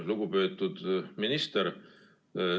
Lugupeetud minister!